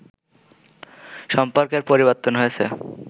সম্পর্কের পরিবর্তন হয়েছে